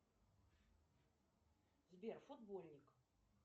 сбер футбольник